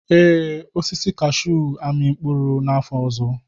Ee, osisi kashuu ga-amị mkpụrụ n'afọ ọzọ.